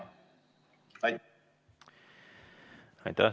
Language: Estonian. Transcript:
Aitäh!